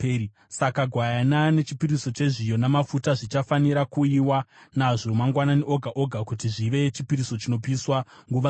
Saka gwayana nechipiriso chezviyo namafuta zvichafanira kuuyiwa nazvo mangwanani oga oga kuti zvive chipiriso chinopiswa nguva dzose.